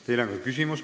Teile on ka küsimus.